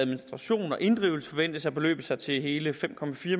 administration og inddrivelse forventes at beløbe sig til hele fem